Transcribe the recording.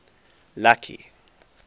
lucky